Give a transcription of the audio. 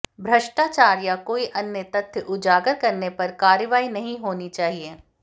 भ्रष्टाचार या कोई अन्य तथ्य उजागर करने पर कार्रवाई नहीं होनी चाहिए